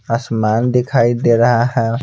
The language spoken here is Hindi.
असमान दिखाई दे रहा है।